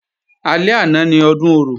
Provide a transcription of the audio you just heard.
Alẹ́ àná ni Ọdún Orò